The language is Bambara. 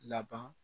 Laban